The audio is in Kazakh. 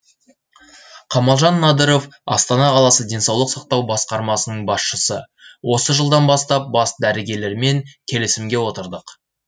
қамалжан надыров астана қаласы денсаулық сақтау басқармасының басшысы осы жылдан бастап бас дәрігерлермен келісімге отырдық